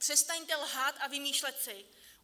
Přestaňte lhát a vymýšlet si!